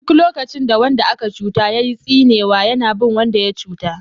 Duk lokacin da wanda aka cuta yayi tsinewa yana bin wanda ya cuta.